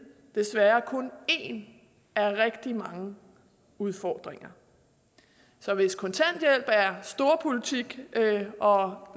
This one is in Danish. desværre kun en af rigtig mange udfordringer så hvis kontanthjælp er storpolitik når